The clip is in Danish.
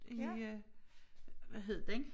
I øh hvad hed den